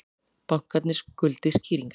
Bankarnir skuldi skýringar